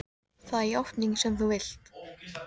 Það er játningin sem þú vilt.